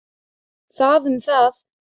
Það um það.